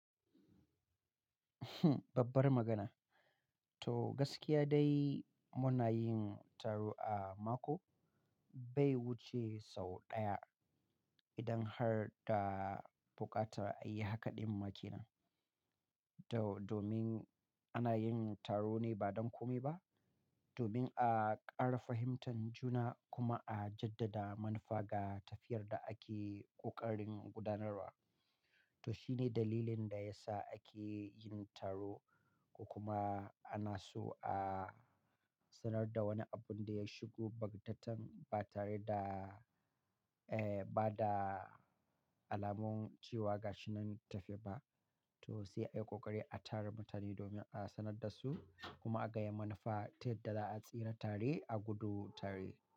Babbar magana. To gaskiya dai muna yin taro a mako, bai wuce sau ɗaya idan har da bukatar a yi haka ɗin ma kenan. To domin ana yin taro ne ba don kome ba, domin a ƙara fahimtan juna kuma a jaddada manufa ga tafiyar da ake ƙoƙarin gudanarwa. To shine dalilin da ya sa ake yin taro, ko kuma ana so a sanar da wani abun da ya shigo bagtatan ba tare da, eh, ba da alamun cewa ga shi nan tafe ba. To sai a yi ƙoƙari a tara mutane domin a sanar da su kuma a gaya yadda manufa ta yadda za a tsira tare a gudu tare.